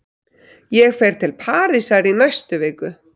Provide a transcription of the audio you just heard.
Ég fer til Parísar í næstu viku.